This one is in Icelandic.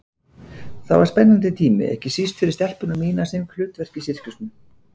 Það var spennandi tími, ekki síst fyrir stelpuna mína sem fékk hlutverk í sirkusnum.